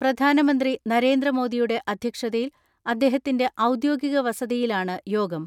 പ്രധാനമന്ത്രി നരേന്ദ്രമോദിയുടെ അധ്യക്ഷതയിൽ അദ്ദേഹ ത്തിന്റെ ഔദ്യോഗിക വസതിയിലാണ് യോഗം.